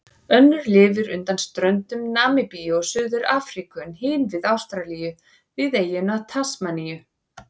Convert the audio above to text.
Önnur lifir undan ströndum Namibíu og Suður-Afríku en hin við Ástralíu, við eyjuna Tasmaníu.